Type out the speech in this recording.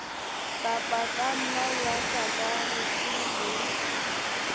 ka pakana ya sakarete le